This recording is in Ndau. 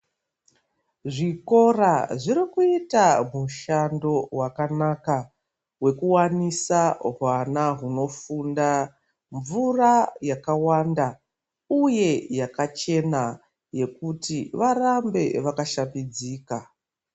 Zvikora zviri kuita mushando wakanaka wekuwanisa huwana unofunda mvura yakawanda uye yakachena yekuti varambe vakashambidzika.